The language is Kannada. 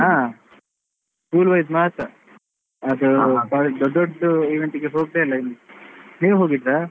ಹಾ school wise ಮಾತ್ರ ಅದು ದೊಡ್ಡ ದೊಡ್ಡ event ಇಗೆ ಹೋಗ್ಲೇ ಇಲ್ಲ ಇನ್ನು, ನೀವು ಹೋಗಿದ್ರಾ?